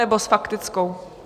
Nebo s faktickou?